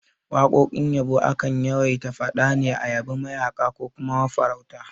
Waƙoƙin yabo akan yawaita faɗa ne a yabi mayaƙa ko kuma mafarauta